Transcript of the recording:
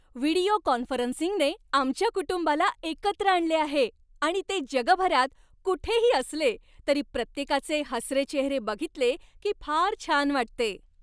Video कॉन्फरन्सिंगने आमच्या कुटुंबाला एकत्र आणले आहे आणि ते जगभरात कुठेही असले तरी प्रत्येकाचे हसरे चेहरे बघितले की फार छान वाटते.